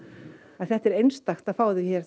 en þetta er einstakt að fá þau hér